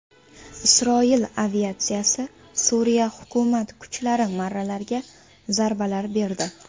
Isroil aviatsiyasi Suriya hukumat kuchlari marralariga zarbalar berdi.